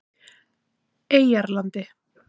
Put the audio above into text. Eyjarlandi